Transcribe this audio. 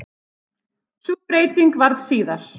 Sú breyting varð síðar.